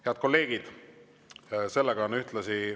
Head kolleegid!